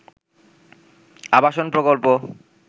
আবাসন প্রকল্প